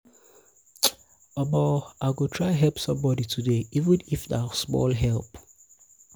i go try help somebodi today even if na small help.